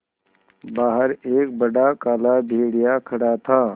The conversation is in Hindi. बाहर एक बड़ा काला भेड़िया खड़ा था